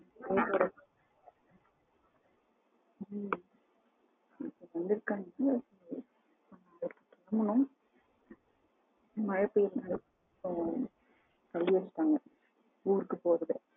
Salem side எல்லாம் வந்த எங்க வீட்டு side வந்துட்டு போங்க ம் மழை ஊருக்கு போறது